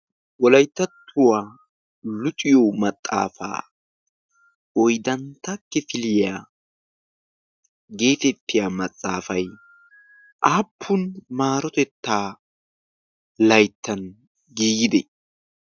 Wolayttattuwaa luxiyo maxaafaa oydantta kifiliyaa geetettiya maxaafay aappun maarotettaa layttan giigide?